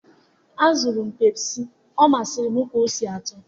azụrụ m Pepsi, ọ masịrị m ka ọ si atọ